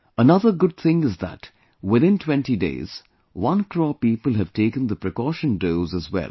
Another good thing is that within 20 days, one crore people have taken the precaution dose as well